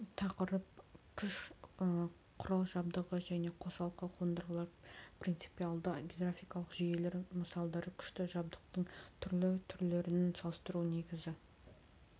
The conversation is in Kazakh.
тақырып күш құрал-жабдығы және қосалқы қондырғылар принципиалды гидравликалық жүйелер мысалдары күшті жабдықтың түрлі түрлерін салыстыру негізгі